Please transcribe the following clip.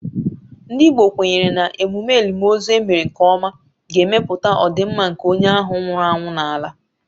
Ndị Igbo kwenyere na emume elimozu e mere nke ọma ga-ekpebi ọdịmma nke onye ahụ nwụrụ anwụ n’ala.